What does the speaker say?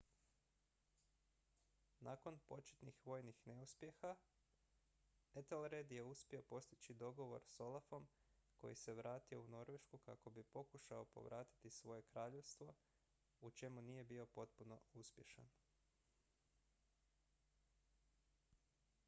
nakon početnih vojnih neuspjeha ethelred je uspio postići dogovor s olafom koji se vratio u norvešku kako bi pokušao povratiti svoje kraljevstvo u čemu nije bio potpuno uspješan